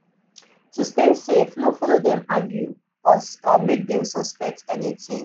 to stay safe no follow dem argue or make dem suspect anything